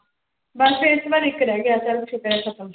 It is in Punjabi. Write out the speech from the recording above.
ਬਸ ਫਿਰ ਇਸ ਤੋਂ ਬਾਅਦ ਇੱਕ ਰਹਿ ਗਿਆ ਚੱਲ ਸ਼ੁਕਰ ਹੈ ਖ਼ਤਮ